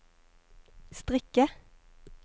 strikke